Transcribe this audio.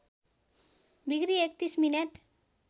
degree ३१ minute